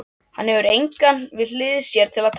Hann hefur engan við hlið sér til að tala við.